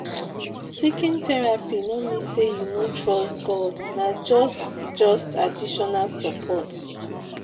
seeking therapy no mean say you no trust God, na just just additional support.